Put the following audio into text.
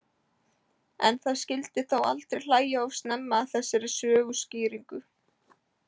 En það skyldi þó aldrei hlæja of snemma að þessari söguskýringu.